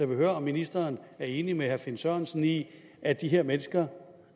vil høre om ministeren er enig med herre finn sørensen i at de her mennesker